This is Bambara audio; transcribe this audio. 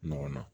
Ɲɔgɔn na